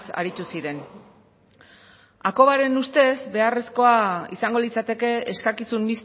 aritu ziren hakobaren ustez beharrezkoa izango litzateke eskakizun